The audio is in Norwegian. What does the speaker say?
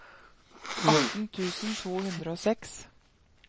atten tusen to hundre og seks